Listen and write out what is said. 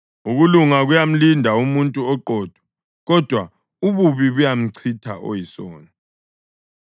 Ukulunga kuyamlinda umuntu oqotho, kodwa ububi buyamchitha oyisoni.